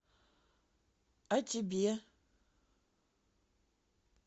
а тебе